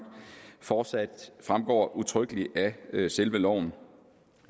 fortsat fremgår udtrykkeligt af selve loven